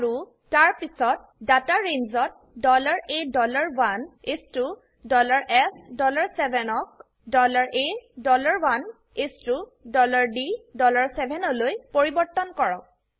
আৰু তাৰপিছত data range ত A 1 ইচ ত SF7 ক A 1 ইচ ত D 7 লৈ পৰিবৰ্তন কৰক